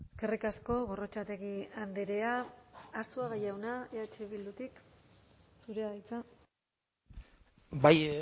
eskerrik asko gorrotxategi andrea arzuaga jauna eh bildutik zurea da hitza bai